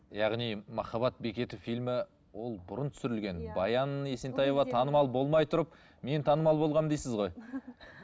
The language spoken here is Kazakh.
яғни махаббат бекеті фильмі ол бұрын түсірілген иә баян есентаева танымал болмай тұрып мен танымал болғанмын дейсіз ғой